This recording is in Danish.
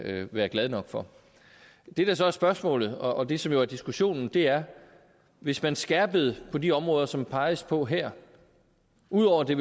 være glade nok for det der så er spørgsmålet og det som jo er diskussionen er hvis man skærpede på de områder som der peges på her ud over at det